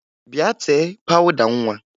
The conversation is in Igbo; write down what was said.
Bịa tee pawụda nwa!